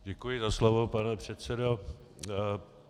Děkuji za slovo, pane předsedo.